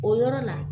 O yɔrɔ la